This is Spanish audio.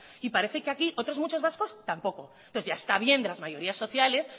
y parece que aquí otros muchos vascos tampoco entonces ya está bien de las mayorías sociales